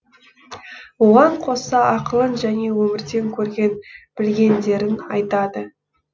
оған қоса ақылын және өмірден көрген білгендерін айтады